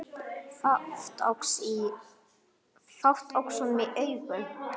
Fátt óx honum í augum.